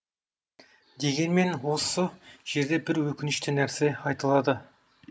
дегенмен осы жерде бір өкінішті нәрсе айтылады